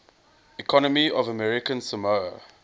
economy of american samoa